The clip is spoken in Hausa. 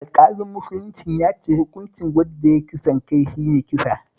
Alƙalin musuluncin ya ce hukuncin wanda ya yi kisan kai shi ne kisa